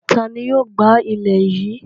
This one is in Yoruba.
Ta ni yóò gbá ilẹ̀ yìí?